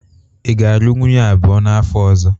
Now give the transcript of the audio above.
Ị ga-alụ nwunye abụọ n'afọ ọzọ?